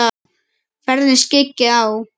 Ferðina skyggi á.